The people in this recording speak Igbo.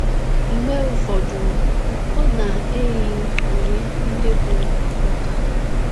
Mgbe ụfọdụ, ọ na -- eyi uwe ndị bụ́ ọkpọka.